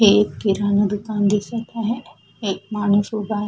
हे एक किराणा दुकान दिसत आहे एक माणूस उभा आ--